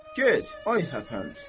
Get, ay həpənç!